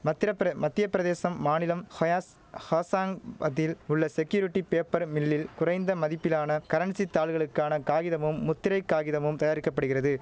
மத்திரப்பிர மத்திய பிரதேசம் மாநிலம் ஹயாஸ் ஹாசாங் பதில் உள்ள செக்யூரிட்டி பேப்பர் மில்லில் குறைந்த மதிப்பிலான கரன்சி தாள்களுக்கான காகிதமும் முத்திரை காகிதமும் தயாரிக்க படுகிறது